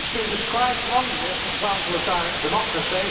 It has been described wrongly as an example of direct democracy.